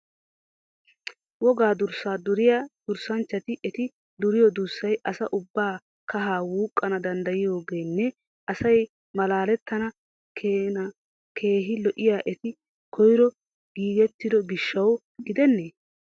Woga durssa duriya durssanchchati eti duriyo durssay asa ubba kahaa wuqana dandayiyoogenne asay malaalettana keena keehi lo'iyoy eti koyro giigettido gishshawu gidennee?